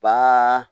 Ba